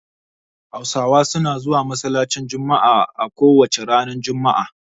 Hausawa suna zuwa masallacin jummuah a kowace ranar juma'a